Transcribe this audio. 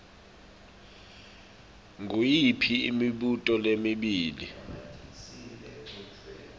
nguyiphi imibuto lemibili